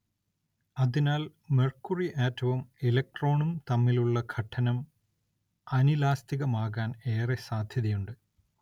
അതിനാൽ മെർക്കുറി ആറ്റവും ഇലക്ട്രോണും തമ്മിലുള്ള ഘട്ടനം അനിലാസ്തികമാകാൻ ഏറെ സാധ്യതയുണ്ട്.